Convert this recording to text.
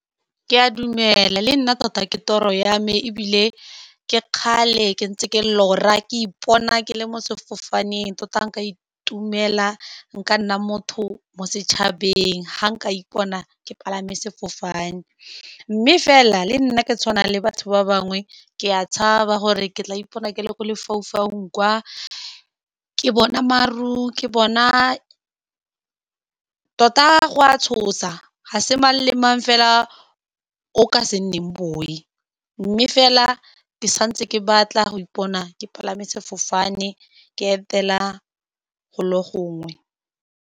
Ke a dumela, le nna tota ke toro ya me, ebile ke kgale ke ntse ke lora, ke ipona ke le mo sefofaneng, tota nka itumela, nka nna motho mo setšhabeng fa nka ipona ke palame sefofane. Mme fela le nna ke tshwana le batho ba bangwe, ke a tshaba gore ke tla ipona ke le mo lefaufaung, kwa ke bona maru. Ke bona tota go a tshosa, ga se mang le mang fela o ka se nneng boi. Mme fela ke santse ke batla go ipona ke palame sefofane, ke etela golo gongwe.